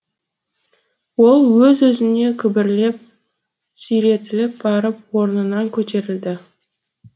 ол өз өзінен күбірлеп сүйретіліп барып орнынан көтерілді